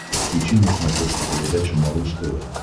подключи на смотрешке передачу малыш тв